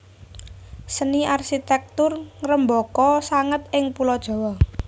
Seni arsitektur ngrembaka sanget ing Pulo Jawa